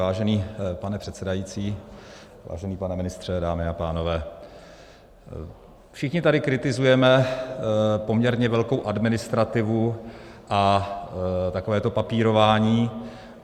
Vážený pane předsedající, vážený pane ministře, dámy a pánové, všichni tady kritizujeme poměrně velkou administrativu a takové to papírování.